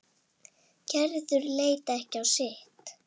Gerður leit ekki á sitt.